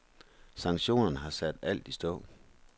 Sanktionerne har sat alt i stå.